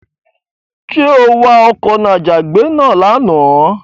Ṣé o wa ọkọ̀ n'àjàgbé náà lánàá?